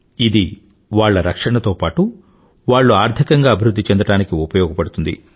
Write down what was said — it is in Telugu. ఇది వాళ్ల రక్షణతో పాటూ వాళ్ళు ఆర్థికంగా అభివృధ్ధి చెందడానికి ఉపయోగపడుతుంది